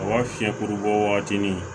A b'a fiyɛ kuru bɔ wagati min